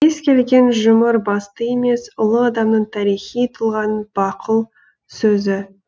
кез келген жұмыр басты емес ұлы адамның тарихи тұлғаның бақұл сөзі